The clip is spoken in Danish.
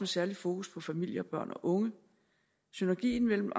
særlig fokus på familie børn og unge synergien mellem